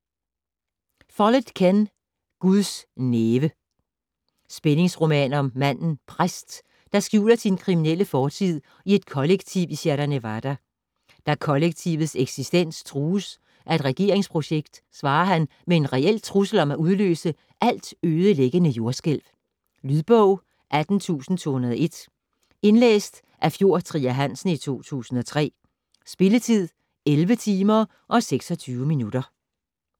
Follett, Ken: Guds næve Spændingsroman om manden Præst, der skjuler sin kriminelle fortid i et kollektiv i Sierra Nevada. Da kollektivets eksistens trues af et regeringsprojekt, svarer han med en reel trussel om at udløse altødelæggende jordskælv. Lydbog 18201 Indlæst af Fjord Trier Hansen, 2003. Spilletid: 11 timer, 26 minutter.